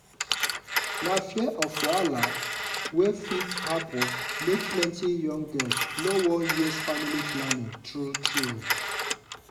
na fear of wahala wey fit happen make plenty young girls no wan use family planning true true.